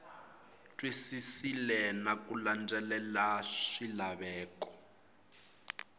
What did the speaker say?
twisisile na ku landzelela swilaveko